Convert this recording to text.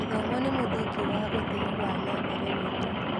Gĩthomo nĩ mũthingi wa ũthii wa na mbere witũ.